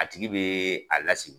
A tigi bɛ a lasi.